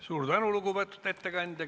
Suur tänu, lugupeetud ettekandja!